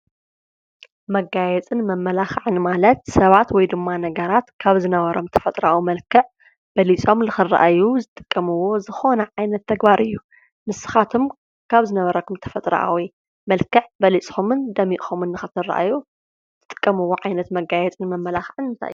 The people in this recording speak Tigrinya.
መጋየጽን መማላክዕን ማለት ሰባት ወይድማ ነገራት ካብ ዝነበሮ ተፈጥራዊ መልክዕ በሊጾም ንክረኣዩ ዝጥቀምዎ ዝኮነ ዓይነት ተግባር እዩ። ንስካትኩ ካብ ዝነበረኩም ተፈጥራኣዊ መልክዕ በሊጽኩምን ደሚቅኩምን ንክትረኣዩ ትጥቀምዎ ዓይነት መጋየጽን መማላክዕን እንታይ እዩ?